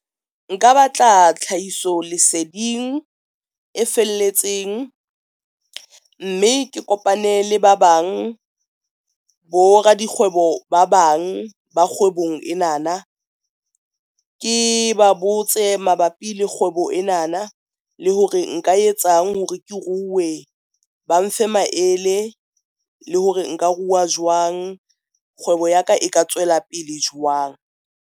Nka batla tlhahiso leseding e felletseng, mme ke kopane le ba bang bo radikgwebo ba bang ba kgwebong ena na, ke ba botse mabapi le kgwebo ena na le hore nka e etsang hore ke ruwe ba mfe maele le hore nka ruwa jwang. Kgwebo ya ka e ka tswela pele jwang.